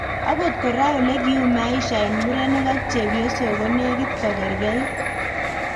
Akot koraa ,olekiuu maisha eng murenik ak chephosok konekit kogerkei